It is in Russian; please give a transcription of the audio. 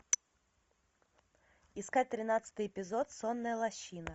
искать тринадцатый эпизод сонная лощина